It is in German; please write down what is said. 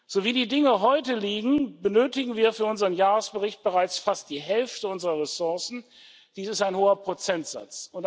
So wie die Dinge heute liegen, benötigen wir für unseren Jahresbericht bereits fast die Hälfte unserer Ressourcen dies ist ein hoher Prozentsatz.